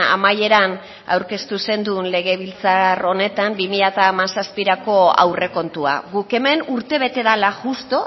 amaieran aurkeztu zenuen legebiltzar honetan bi mila hamazazpirako aurrekontua guk hemen urtebete dela justu